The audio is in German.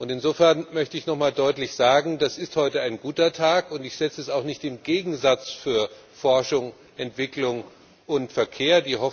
Insofern möchte ich nochmal deutlich sagen Das ist heute ein guter Tag, und ich setze es auch nicht in Gegensatz zu Forschung, Entwicklung und Verkehr.